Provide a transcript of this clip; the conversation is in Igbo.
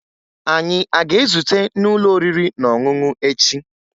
Anyị a ga-ezute n'ụlọ oriri na ọṅụṅụ echi?